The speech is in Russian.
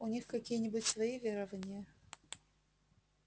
у них какие-нибудь свои верования